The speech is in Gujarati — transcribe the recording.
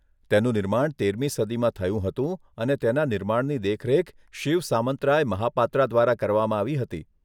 તેનું નિર્માણ તેરમી સદીમાં થયું હતું અને તેના નિર્માણની દેખરેખ શિવ સામંતરાય મહાપાત્રા દ્વારા કરવામાં આવી હતી.